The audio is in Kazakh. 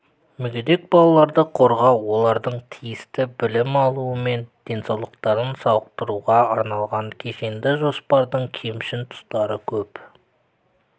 мүгедек балаларды қорғау олардың тиісті білім алуы мен денсаулықтарын сауықтыруға арналған кешенді жоспардың кемшін тұстары көп